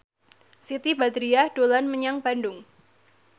Siti Badriah dolan menyang Bandung